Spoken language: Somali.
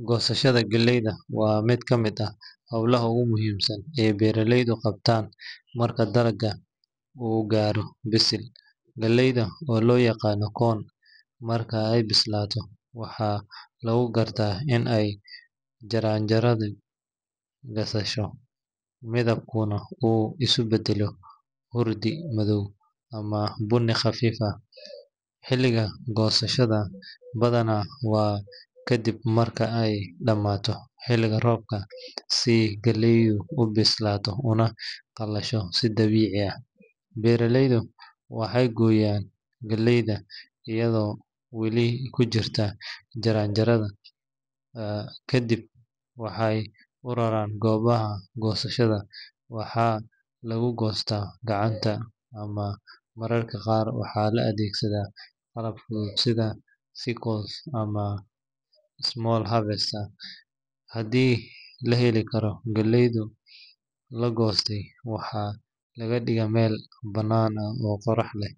Goosashada galleyda waa mid ka mid ah howlaha ugu muhiimsan ee beeraleydu qabtaan marka dalagga uu gaaro bisil. Galleyda, oo loo yaqaan corn, marka ay bislaato waxaa lagu gartaa in ay jaranjaradu qalasho, midabkuna uu isu beddelo hurdi madow ama bunni khafiif ah. Xilliga goosashada badanaa waa kadib marka ay dhamaato xilliga roobka, si galleydu u bislaato una qalasho si dabiici ah. Beeraleydu waxay gooyaan galleyda iyadoo weli ku jirta jaranjarada, ka dibna waxay u raraan goobaha goosashada. Waxaa lagu goostaa gacanta ama mararka qaar waxaa la adeegsadaa qalab fudud sida sickle ama small harvester haddii la heli karo. Galleyda la goostay waxaa la dhigaa meel bannaan oo qorax leh